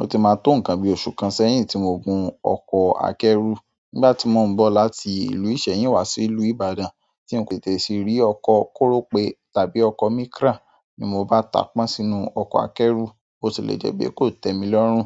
Ó ti máa tó nǹkan bí oṣù kan sẹ́yìn tí mo gùn ọkọ̀ akẹ́rù nígbà tí mò ń bọ̀ láti ìlú Ìsẹ́yìn wá sí ìlú Ìbàdàn, tí n kò tètè sì rí ọkọ̀ kórópe tàbí ọkọ̀ Micra, ní mo bá tàá pọ́n sínú ọkọ̀ akẹ́rù, bo ti le jẹ́ pé kò tẹ́ mi lọ́rùn,